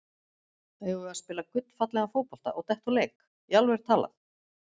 Eigum við að spila gullfallegan fótbolta og detta úr leik, í alvöru talað?